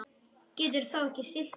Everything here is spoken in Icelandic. Getur þó ekki stillt sig.